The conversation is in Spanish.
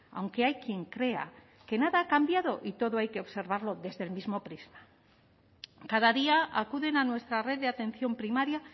aunque hay quien crea que nada ha cambiado y todo hay que observarlo desde el mismo prisma cada día acuden a nuestra red de atención primaria